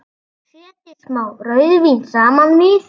Setjið smá rauðvín saman við.